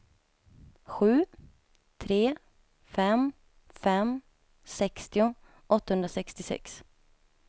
sju tre fem fem sextio åttahundrasextiosex